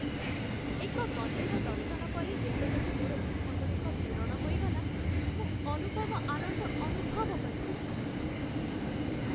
ଏକ ମନ୍ଦିର ଦର୍ଶନ ପରେ, ଯେତେବେଳେ ମୋର ଇଚ୍ଛାଗୁଡ଼ିକ ପୂରଣ ହୋଇଗଲା, ମୁଁ ଅନୁପମ ଆନନ୍ଦ ଅନୁଭବ କଲି।